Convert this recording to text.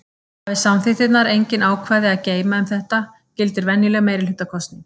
Hafi samþykktirnar engin ákvæði að geyma um þetta gildir venjuleg meirihlutakosning.